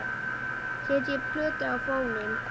Setjið plötu á fóninn.